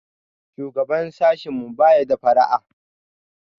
Shugaban sashinmu baya da fara'a.